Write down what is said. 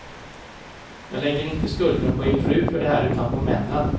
Jag lägger inte skulden på er fru för det här, utan på männen.